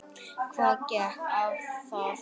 Hvað gekk á þá?